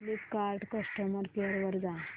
Flipkart customer care वर जा